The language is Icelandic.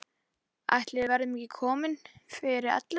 Ætli við verðum ekki komin fyrir ellefu.